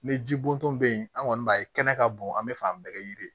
Ni ji bɔntɔ be yen an kɔni b'a ye kɛnɛ ka bon an be fɛ an bɛɛ ka yiri